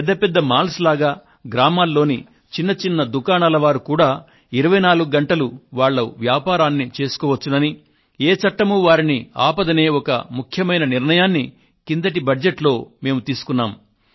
పెద్ద పెద్ద మాల్స్ వలె గ్రామాల్లోని చిన్న చిన్న దుకాణాల వారు కూడా 24 గంటలు వాళ్ళ వ్యాపారాన్ని చేసుకోవచ్చుననీ ఏ చట్టమూ వారిని ఆపదనే ఒక ముఖ్యమైన నిర్ణయాన్ని కిందటి బడ్జెట్టులో మేము తీసుకున్నాము